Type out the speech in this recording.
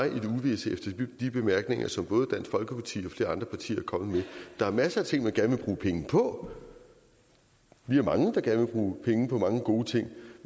i det uvisse efter de bemærkninger som både dansk folkeparti og flere andre partier er kommet med der er masser af ting man gerne vil bruge penge på vi er mange der gerne vil bruge penge på mange gode ting